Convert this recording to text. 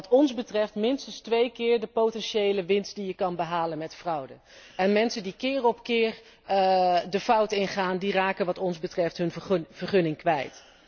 Wat ons betreft minstens twee keer de potentiële winst die je kunt behalen met fraude. En mensen die keer op keer de fout ingaan, raken wat ons betreft hun vergunning kwijt.